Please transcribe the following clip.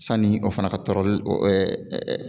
Sani o fana ka tɔɔrɔli o ɛɛɛ